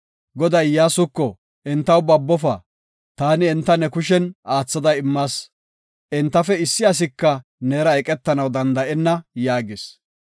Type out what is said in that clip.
Goday Iyyasuko, “Entaw babofa; taani enta ne kushen aathada immas. Entafe issi asika neera eqetanaw danda7enna” yaagis.